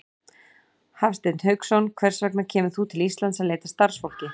Hafsteinn Hauksson: Hvers vegna kemur þú til Íslands til að leita að starfsfólki?